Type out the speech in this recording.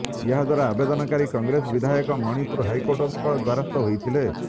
ଏହାଦ୍ବାରା ଆବେଦନକାରୀ କଂଗ୍ରେସ ବିଧାୟକ ମଣିପୁର ହାଇକୋର୍ଟଙ୍କ ଦ୍ବାରସ୍ଥ ହୋଇଥିଲେ